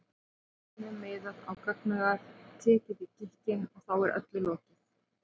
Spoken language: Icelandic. byssunni miðað á gagnaugað, tekið í gikkinn, og þá er öllu lokið.